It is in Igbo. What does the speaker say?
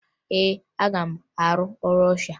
Ee, aga m arụ ọrụ ọsha